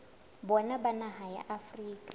bona ba naha ya afrika